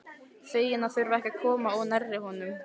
Fegin að þurfa ekki að koma of nærri honum.